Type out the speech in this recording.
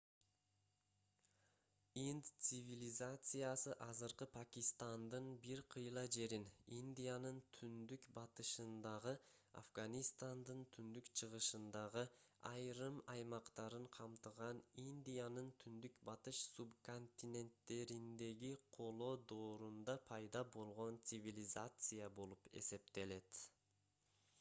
инд цивилизациясы азыркы пакистандын бир кыйла жерин индиянын түндүк-батышындагы афганистандын түндүк-чыгышындагы айрым аймактарын камтыган индиянын түндүк-батыш субконтиненттериндеги коло доорунда пайда болгон цивилизация болуп эсептелет